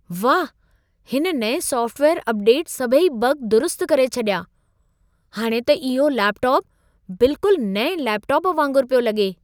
वाह, हिन नएं सॉफ़्टवेयर अपडेट सभई बग दुरुस्तु करे छॾिया! हाणि त इहो लैपटॉपु बिल्कुल नएं लैपटॉप वांगुर पियो लॻे।